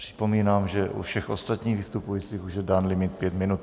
Připomínám, že u všech ostatních vystupujících už je dán limit pět minut.